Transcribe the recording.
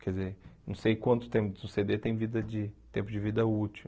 Quer dizer, não sei quanto tempo, se o cê dê tem vida de tempo de vida útil.